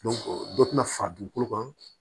dɔ tɛna fara dugukolo kan